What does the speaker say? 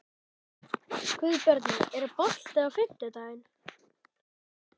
Guðbjarni, er bolti á fimmtudaginn?